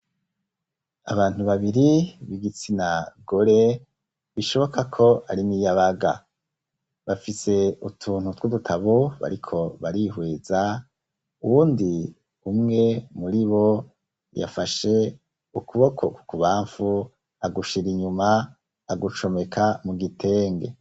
Abantu babiri b'igitsina gore bishoboka ko ari niyabaga bafise utuntu tw'udutabo bariko barihweza uwundi umwe muri bo yafashe ukuboko kuku bamfu agushira inyuma agucomeka mu gitenge.